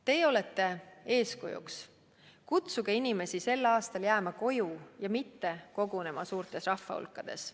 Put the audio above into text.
Teie olete eeskujuks, kutsuge inimesi sel aastal jääma koju ja mitte kogunema suurtes rahvahulkades.